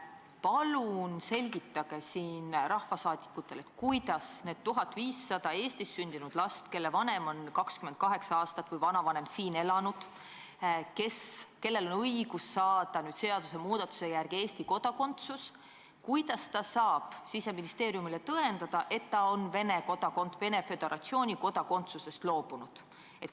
Palun selgitage rahvasaadikutele, kuidas need 1500 Eestis sündinud last, kelle vanem või vanavanem on 28 aastat siin elanud ja kellel on seadusmuudatuse järgi õigus saada Eesti kodakondsus, saavad Siseministeeriumile tõendada, et nad on Venemaa Föderatsiooni kodakondsusest loobunud.